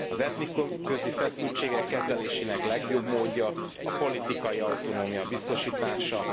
Az etnikumközi feszültségek kezelésének legjobb módja a politikai autonómia biztosítása.